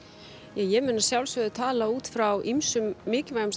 ég mun að sjálfsögðu tala út frá ýmsum mikilvægum